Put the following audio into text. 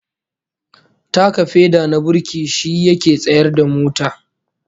Taka feda na burki shi yake tsayar da mota